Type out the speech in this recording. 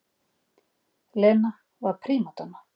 Lena var prímadonna.